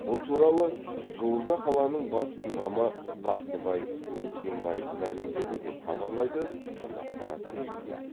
бұл туралы жуырда қаланың бас имамы бақтыбай бейсенбаев мәлімдеді деп хабарлайды қазақпарат тілшісі